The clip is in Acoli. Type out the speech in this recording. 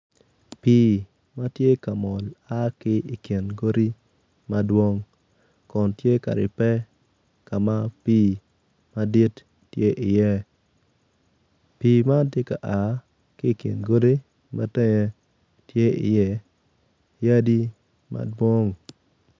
Pii ma tye ka mol ma a ki i kin ,godi madwong kun tye ka ribbe ka ma pii madit tye iye pii man tye ka a ki i kin godi ma tenge tye iye yadi madwong.